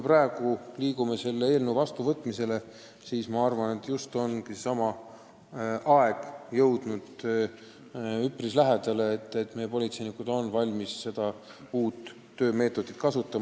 Praegu me liigume selle eelnõu heakskiitmise poole ja minu arvates ongi üpris lähedale jõudnud aeg, mil meie politseinikud on valmis seda uut töömeetodit kasutama.